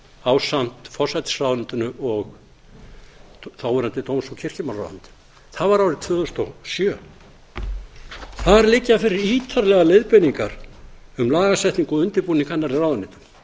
ásamt forsætisráðuneytinu og þáverandi dóms og kirkjumálaráðherra það var árið tvö þúsund og sjö þar liggja fyrir ítarlegar leiðbeiningar um lagasetningu og undirbúning hennar í ráðuneyta